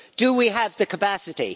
Do we have the capacity?